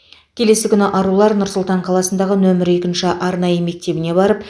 келесі күні арулар нұр сұлтан қаласындағы нөмірі екінші арнайы мектебіне барып